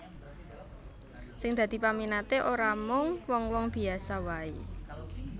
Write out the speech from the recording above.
Sing dadi peminaté ora mung wong wong biyasa waé